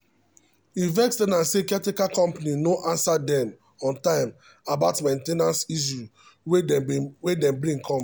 e vex ten ant say caretaker company no answer dem on time about main ten ance issue wey dem bring come.